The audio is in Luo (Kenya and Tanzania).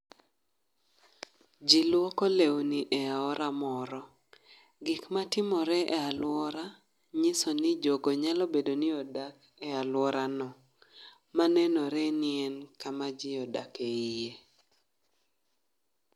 Ji luoko lewni e aora moro: gik ma timore e alwora nyiso ni jogo nyalo bedo ni odak e alwora no. Ma nenore ni en kama ji odake iye.